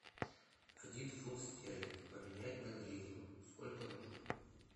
один фунт стерлинг поменять на гривну сколько нужно